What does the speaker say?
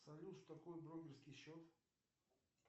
салют что такое брокерский счет